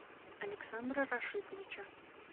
александра рашитовича